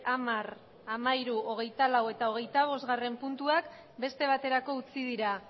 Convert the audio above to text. hamar hamairu hogeita lau eta hogeita bostgarrena puntuak beste baterako utzi dira